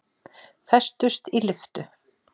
Festust í lyftu